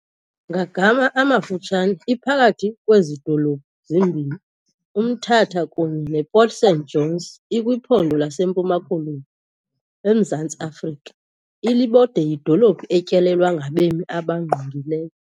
Ngagama amafutshane iphakathi kwezi dolophu zimbini uMthatha kunye nePort St Johns ikwiPhondo laseMpuma-Koloni eMzantsi Afrika, Ilibode yidolophi etyelelwa ngabemi abangqungileyo.